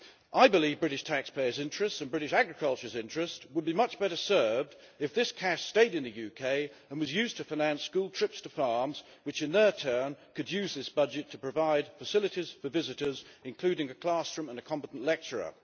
I believe British taxpayers' interests and British agriculture's interest would be much better served if this cash stayed in the UK and was used to finance school trips to farms, which in turn could use this budget to provide facilities for visitors, including a classroom and a competent lecturer.